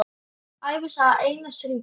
Ævisaga Einars ríka